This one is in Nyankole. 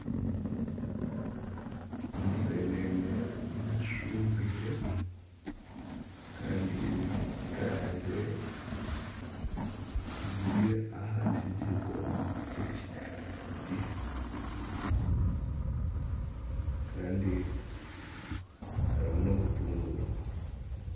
Enseenene zishubwire kandi zikarangire ziri aha kijiko ky'ekiti kandi harimu n'obutunguru.